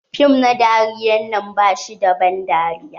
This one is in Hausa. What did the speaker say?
Fim na dariyar nan bashi da ban dariya.